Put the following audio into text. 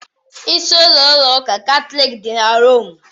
Isi-ụlọ ụlọ ụka Katọlik dị na Rome.